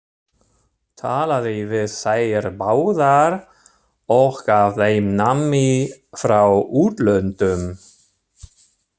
Talaði við þær báðar og gaf þeim nammi frá útlöndum!